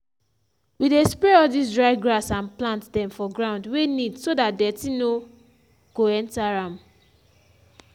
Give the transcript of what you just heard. we dey spray all dis dry grass and plant dem for ground wey neat so dat dirty no go enter am.